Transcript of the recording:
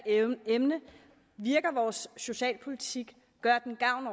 emne virker vores socialpolitik gør den gavn